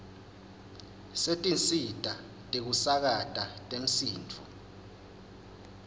setinsita tekusakata temsindvo